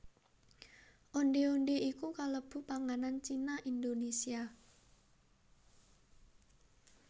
Ondhé ondhé iku kalebu panganan Cina Indonésia